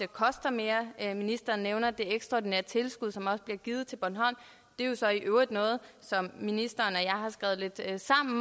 koster mere ministeren nævner det ekstraordinære tilskud som bliver givet til bornholm det er jo så i øvrigt noget som ministeren